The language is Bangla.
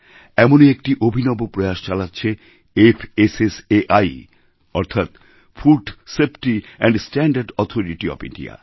এমনই একটি অভিনব প্রয়াস চালাচ্ছেফাসাই অর্থাৎ food safety and standard authority of India